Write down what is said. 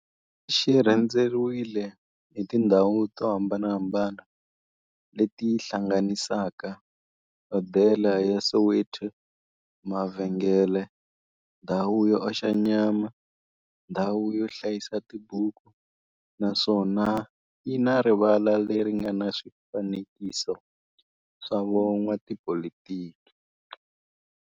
Xi rhendzeriwile hi tindhawu to hambanahambana le ti hlanganisaka, hodela ya Soweto, mavhengele, ndhawu yo oxa nyama, ndhawu yo hlayisa tibuku, naswona yi na rivala le ri nga na swifanekiso swa vo n'watipolitiki.